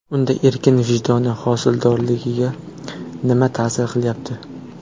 Unda ekin rivoji, hosildorligiga nima ta’sir qilyapti?